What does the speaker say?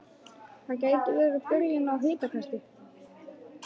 Það gæti verið byrjun á hitakasti